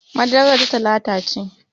Madarar ta lalace